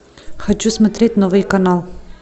хочу смотреть новый канал